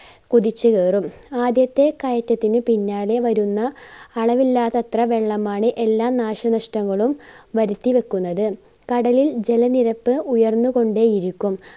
കുതിച്ച് കേറും ആദ്യത്തെ കയറ്റത്തിന് പിന്നാലെ വരുന്ന അളവിലാതത്ര വെള്ളമാണ് എല്ലാ നാശനഷ്ടങ്ങളും വരുത്തി വെക്കുന്നത് കടലിൽ ജല നിരപ്പ് ഉയർന്നുകൊണ്ടേയിരിക്കും.